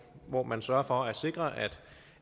hvor man sørger for at sikre